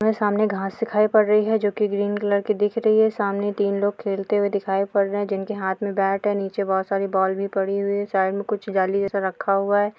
सामने घास दिखाई पड़ रही यही जो ग्रीन कलर दिख रही है सामने तीन लोग खेलते हुए दिखाई पड़ रहे हैं। जिनके हाथ मे बेट है और नीचे बहुत सारी बॉल भी पड़ी हुई है। साइड मे कुछ जाली जैसा रखा हुआ है।